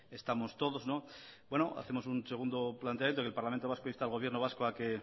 estamos todos hacemos un segundo planteamiento que el parlamento vasco insta al gobierno vasco a que